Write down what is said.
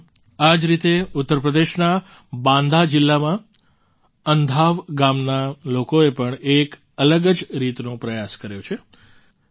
સાથીઓ આ જ રીતે ઉત્તર પ્રદેશના બાંદા જિલ્લામાં અન્ધાવ ગામના લોકોએ પણ એક અલગ જ રીતનો પ્રયાસ કર્યો છે